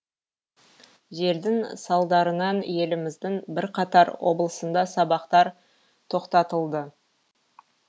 желдің салдарынан еліміздің бірқатар облысында сабақтар тоқтатылды